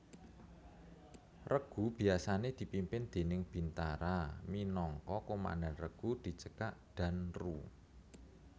Regu biasané dipimpin déning bintara minangka Komandan Regu dicekak Danru